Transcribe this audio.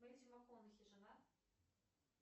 мэттью макконахи женат